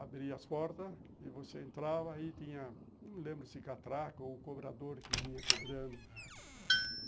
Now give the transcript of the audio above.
Abria as portas e você entrava e tinha, não lembro se catraca ou cobrador que vinha cobrando.